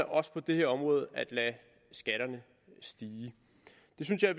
også på det her område tænkt at lade skatterne stige det synes jeg